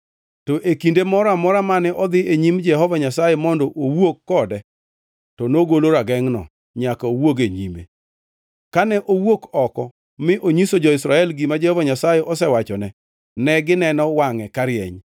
To e kinde moro amora mane odhi e nyim Jehova Nyasaye mondo owuo kode, to nogolo ragengʼno nyaka owuog e nyime. Kane owuok oko mi onyiso jo-Israel gima Jehova Nyasaye osewachone, negineno wangʼe karieny.